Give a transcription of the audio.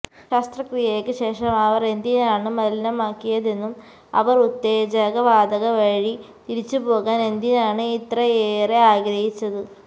ശസ്ത്രക്രിയയ്ക്ക് ശേഷം അവർ എന്തിനാണ് മലിനമാക്കിയതെന്നും അവർ ഉത്തേജക വാതക വഴി തിരിച്ചുപോകാൻ എന്തിനാണ് ഇത്രയേറെ ആഗ്രഹിച്ചത്